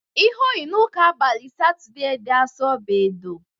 Ihe o yi n'ụka abalị Satọdee dị Asọ bụ edo.